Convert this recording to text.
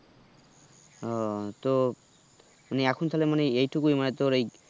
আহ তো এখন তাহলে মানে এই টুকুই মানে তোর এই